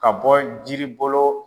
Ka bɔ jiri bolo